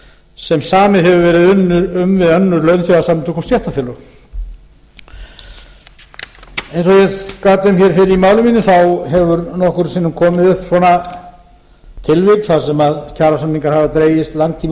sem samið hefur verið um við önnur launþegasamtök og stéttarfélög eins og ég gat um hér fyrr í máli mínu hefur nokkrum sinnum komið upp svona tilvik þar sem kjarasamningar hafa dregist langtímum